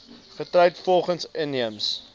getroud volgens inheemse